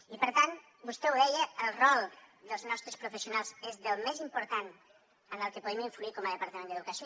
i per tant vostè ho deia el rol dels nostres professionals és del més important en el que podem influir com a departament d’educació